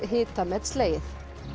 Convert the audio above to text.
hitamet slegið